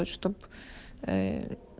чтоб э